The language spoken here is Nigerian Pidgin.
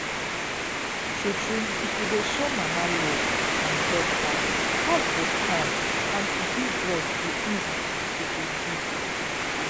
tru tru if you dey show mama love and help her house go calm and to give breast go easy as e suppose be